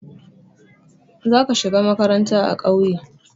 Za ka shiga makaranta a ƙauye.